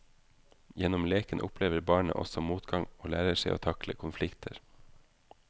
Gjennom leken opplever barnet også motgang og lærer seg å takle konflikter.